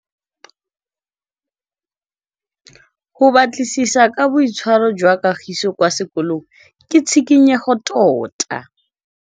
Go batlisisa ka boitshwaro jwa Kagiso kwa sekolong ke tshikinyêgô tota.